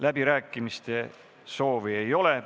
Läbirääkimiste soovi ei ole.